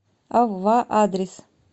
ав ва адрес